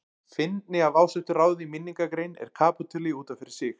Fyndni af ásettu ráði í minningargrein er kapítuli út af fyrir sig.